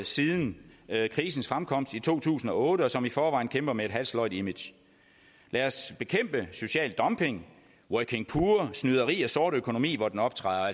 siden krisens fremkomst i to tusind og otte og som i forvejen kæmper med et halvsløjt image lad os bekæmpe social dumping working poor snyderi og sort økonomi hvor den optræder og